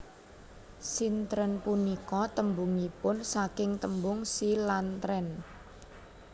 Sintren punika tembungipun saking tembung Si lan tren